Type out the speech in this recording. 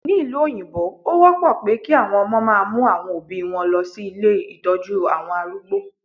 Ní ìlú òyìnbó, ó wọ́pọ̀ pé kí àwọn ọmọ máa mú àwọn Òbí wọn lọ sí ilé Ìtọ́jú àwọn arúgbó.